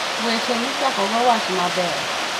Weche Michakogo Wach Maber